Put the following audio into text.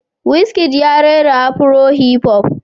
Wizkid ya rera Afro-hiphop